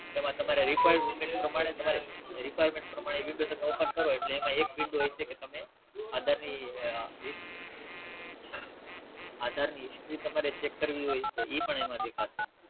એમાં તમારે Requirement પ્રમાણે Requirement પ્રમાણે Window તમે Open કરો એટલે એમાં એક Window એ છે કે તમે આધાર ની આધાર ની History તમારે Check કરવી હોય તો ઈ પણ એમાં દેખાશે